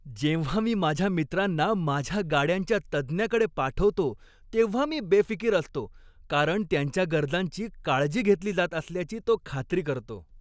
जेव्हा मी माझ्या मित्रांना माझ्या गाड्यांच्या तज्ज्ञाकडे पाठवतो तेव्हा मी बेफिकीर असतो, कारण त्यांच्या गरजांची काळजी घेतली जात असल्याची तो खात्री करतो.